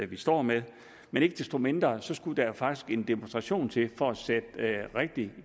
vi står med men ikke desto mindre skulle der jo faktisk en demonstration til for at sætte rigtig